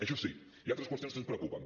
això sí hi ha altres qüestions que ens preocupen